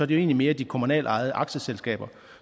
det egentlig mere de kommunalt ejede aktieselskaber